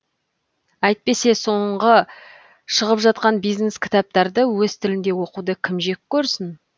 әйтпесе соңғы шығып жатқан бизнес кітаптарды өз тілінде оқуды кім жек көрсін